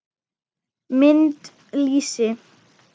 Mynd: Lýsi.